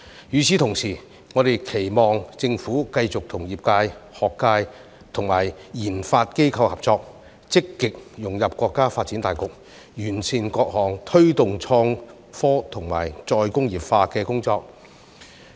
與此同時，我們亦期望政府繼續與業界、學界及研發機構合作，積極融入國家發展大局，完善各項推動創科及再工業化的工作。